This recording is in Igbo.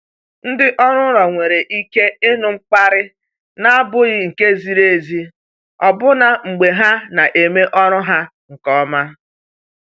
Ndị ọrụ ụlọ nwere ike ịnụ mkparị na-abụghị nke ziri ezi ọbụna mgbe ha na-eme ọrụ ha nke ọma.